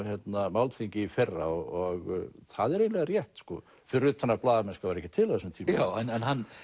málþingi í fyrra og það er eiginlega rétt sko fyrir utan að blaðamennska var ekki til á þessum tíma já en hann